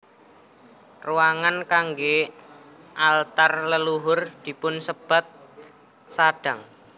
Ruangan kanggé altar leluhur dipunsebat sadang